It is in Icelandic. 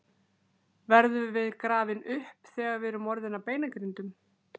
Verðum við grafin upp þegar við erum orðin að beinagrindum?